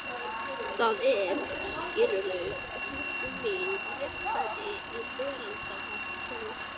Það er, skilurðu, huggun mín og réttlæting í veraldarvolkinu.